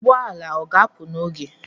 Ụgbọala ọga apụ n'oge?